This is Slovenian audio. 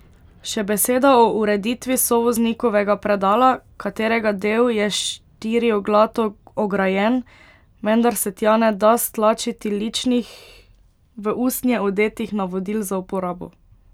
Še beseda o ureditvi sovoznikovega predala, katerega del je štirioglato ograjen, vendar se tja ne da stlačiti ličnih v usnje odetih navodil za uporabo.